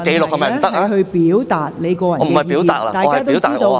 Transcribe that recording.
我不是表達意見，我要留下紀錄。